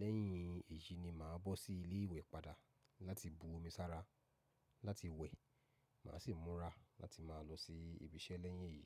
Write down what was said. Lẹ́yìn èyí ni mà á bọ́ sí ilé ìwẹ̀ padà láti bu omi sára láti wẹ̀. Mà á sì múra láti máa lọ sí ibi iṣẹ́ lẹ́yìn èyí.